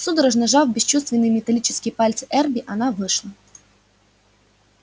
судорожно сжав бесчувственные металлические пальцы эрби она вышла